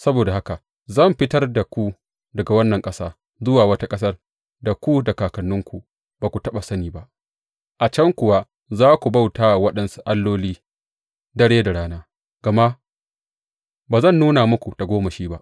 Saboda haka zan fitar da ku daga wannan ƙasa zuwa wata ƙasar da ku da kakanninku ba ku taɓa sani ba, a can kuwa za ku bauta wa waɗansu alloli dare da rana, gama ba zan nuna muku tagomashi ba.’